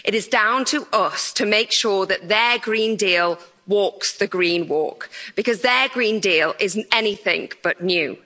It is down to us to make sure that their Green Deal walks the green walk, because their Green Deal is anything but new.